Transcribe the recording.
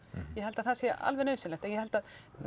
ég held að það sé alveg nauðsynlegt en ég held að